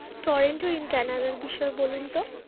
Torrenting in Canada র বিষয়ে বলুন তো?